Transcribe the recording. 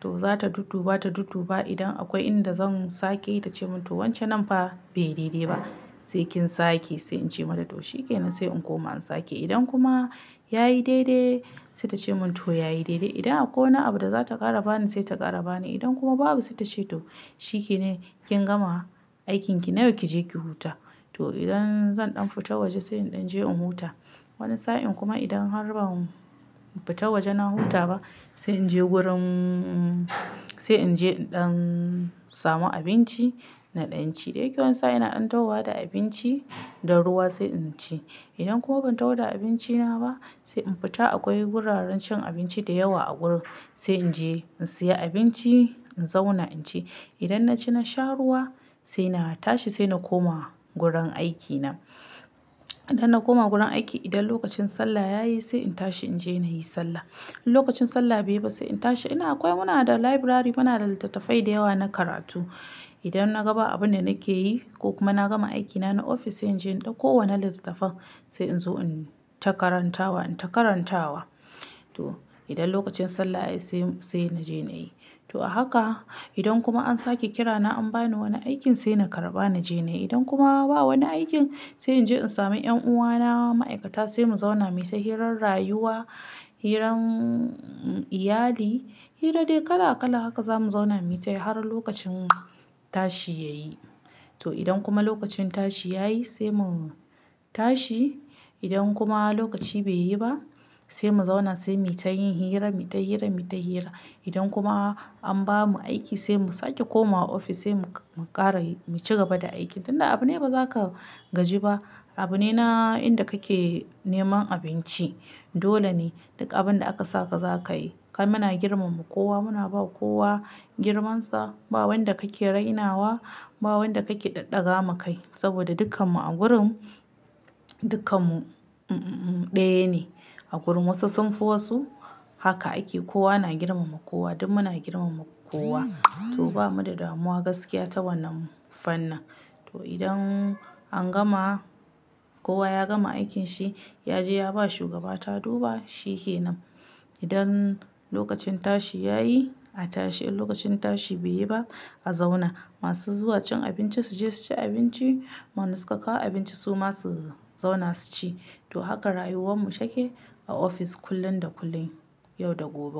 To za ta dudduba, ta dudduba idan akwai inda zan sake tace mun "to wance nan fa bai daidai ba". Sai kin sake sai in ce mata to shikenan sai in koma in sake. Idan kuma yayi daidai sai ta ce mun "to yayi daidai". Idan akwai wani abu da za ta ƙara bani sai ta ƙara bani. Idan kuma babu sai ta ce to "shikenan kin gama aikin ki na yau ki je ki huta". To idan zan ɗan fita waje sai in ɗan je in huta. Wani sa'in kuma idan har ba mu fita waje na huta ba sai in je gurin, sai in je in ɗan samu abinci naɗan ci. Da yake wani sa'in ina ɗan tawada abinci da ruwa sai in ci. Idan kuma ban tawoda abinci na ba sai in fita akwai wuraren cin abinci da yawa a gurin sai in je in siya abinci in zauna in ci. Idan na ci na sha ruwa sai na tashi sai na koma gurin aiki na. Idan na koma gurin aiki idan lokacin sallah yayi sai in tashi in je nayi sallah. In lokacin sallah bai yi ba sai in tashi ina akwai muna da library muna da littattafai da yawa na karatu. Idan na ga ba abun da nake yi ko kuma na gama aiki na na ofis in je in ɗauko wannan littattafan sai in zo in ta karantawa, in ta karantawa. To idan lokacin sallah yayi sai, sai na je nayi. To a haka idan kuma an sake kira na an bani wani aikin sai na karɓa na je nayi. Idan kuma ba wani aikin sai in je in sami 'yan'uwana ma'aikata sai mu zauna mu yi ta hirar rayuwa, hiran iyali, hira dai kala kala haka za mu zauna mu yi ta yi har lokacin tashi yayi. To idan kuma lokacin tashi yayi sai mu tashi. Idan kuma lokaci bai yi ba sai mu zauna sai mu yi ta yin hira, mu yi ta hira, mu yi ta hira. Idan kuma an bamu aiki sai mu sake komawa ofis sai mu ƙara mu cigaba da aiki. Tun da abu ne ba za ka gaji ba. Abu ne na inda kake neman abinci. Dole ne duk abin da aka saka za ka yi. Kai muna girmama kowa, muna ba kowa girmansa. Ba wanda kake rainawa, ba wanda kake ɗaɗɗaga makai. Saboda dukkan mu a gurin dukkan mu ɗaya ne. A gurin wasu sun fi wasu haka ake kowa na girmama kowa, duk mu na girmama kowa. To bamu da damuwa gaskiya ta wannan fannin. To idan an gama, kowa ya gama aikin shi, ya je ya ba shugaba ta duba shikenan. Idan lokacin tashi yayi a tashi in lokacin tashi bai yi ba a zauna. Masu zuwa cin abinci su je su ci abinci. Wanna suka kawo abinci suma su zauna su ci. To haka rayuwar mu take a ofis kullum da kullum, yau da gobe.